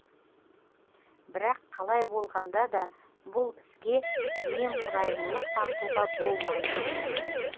бірақ қалай болғанда да бұл іске немқұрайлылық танытуға болмайды